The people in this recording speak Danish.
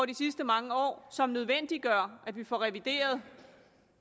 de sidste mange år som nødvendiggør at vi får revideret